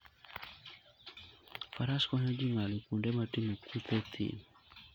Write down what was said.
Faras konyo ji ng'ado kuonde motimo kuthe e thim.